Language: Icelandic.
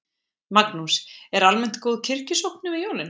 Magnús: Er almennt góð kirkjusókn yfir jólin?